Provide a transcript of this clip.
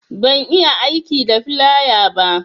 Ban iya aiki da filaya ba